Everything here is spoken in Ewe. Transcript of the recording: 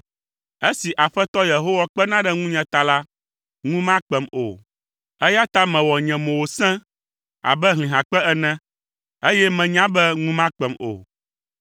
Esi Aƒetɔ Yehowa, kpena ɖe ŋunye ta la, ŋu makpem o, eya ta mewɔ nye mo wòse abe hlihakpe ene, eye menya be ŋu makpem o.